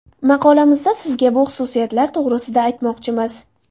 Maqolamizda sizga bu xususiyatlar to‘g‘risida aytmoqchimiz.